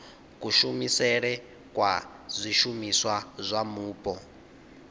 kushumisele kwa zwishumiswa zwa mupo